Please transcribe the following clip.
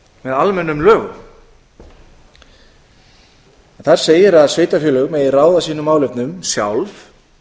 með almennum lögum þar segir að sveitarfélög megi ráða sínum málefnum sjálf